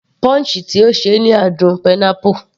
Punch tí ó ṣe ni àádùn pineapple